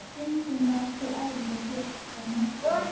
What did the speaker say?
Stundum var þó erfitt að gera neitt af þessu.